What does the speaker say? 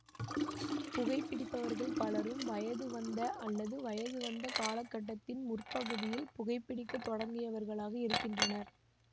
புகைபிடிப்பவர்கள் பலரும் வயதுவந்த அல்லது வயதுவந்த காலகட்டத்தின் முற்பகுதியில் புகைபிடிக்கத் தொடங்கியவர்களாக இருக்கின்றனர்